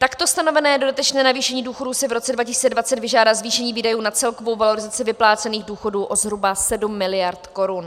Takto stanovené dodatečné navýšení důchodů si v roce 2020 vyžádá zvýšení výdajů na celkovou valorizaci vyplácených důchodů o zhruba 7 mld. korun.